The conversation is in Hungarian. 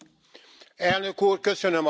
Elnök Úr, köszönöm a szót!